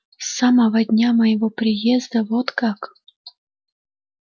с самого дня моего приезда вот как